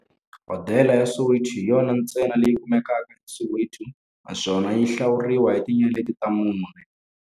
Hodela ya Soweto hi yona ntsena leyi kumekaka eSoweto, naswona yi hlawuriwa hi tinyeleti ta mune.